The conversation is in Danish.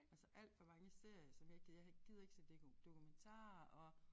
Altså alt der var ingen serier som jeg ikke gider jeg ikke gider se dokumentarer og